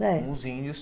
É. Com os índios.